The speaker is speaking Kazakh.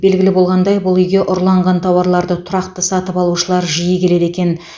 белгілі болғандай бұл үйге ұрланған тауарларды тұрақты сатып алушылар жиі келеді екен